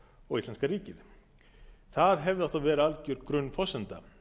og íslenska ríkið það hefði átt að vera alger grunnforsenda